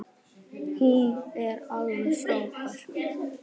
Hún er alveg frábær.